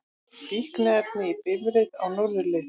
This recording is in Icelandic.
Fíkniefni í bifreið á norðurleið